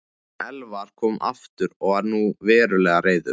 Elvar kom aftur og var nú verulega reiður.